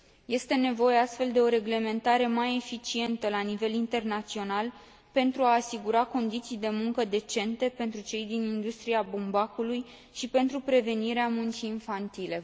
Este nevoie, astfel, de o reglementare mai eficientă la nivel internațional, pentru a asigura condiții de muncă decente pentru cei din industria bumbacului și pentru prevenirea muncii infantile.